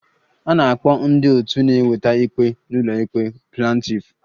A na-akpọ ndị otu na-eweta ikpe n'ụlọikpe Plantiff